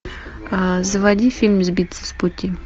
заводи фильм сбиться с пути